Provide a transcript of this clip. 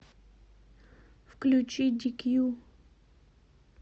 включи дикью